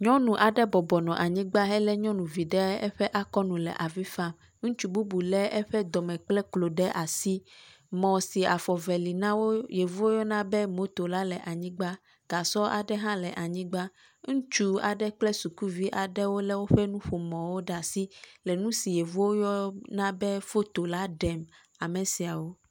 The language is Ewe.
Nyɔnu aɖe bɔbɔ nɔ anyigba helé nyɔnuvi ɖe asi hele avi fam, ŋutsu bubu lé eƒe dɔme kple klo ɖe asi. Mɔ si afɔ eve li na yevuwo yɔna me moto la le anyigba, gasɔ aɖe hã le anyigba, ŋutsuvi aɖe kple sukuvi aɖe wolé woƒe nuƒomɔwo ɖe asi le nu si yevuwo yɔna foto la ɖem ame siawo.